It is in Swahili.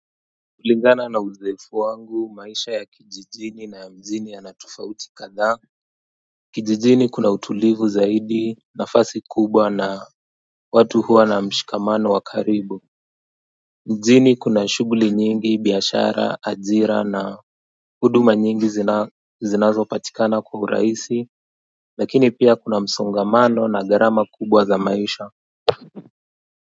Kulingana na uzoefu wangu maisha ya kijijini na ya mjini yana tofauti kadhaa Kijijini kuna utulivu zaidi nafasi kubwa na watu huwa na mshikamano wa karibu Mjini kuna shugli nyingi biashara ajira na huduma nyingi zinazo patikana kwa urahisi lakini pia kuna msongamano na garama kubwa za maisha.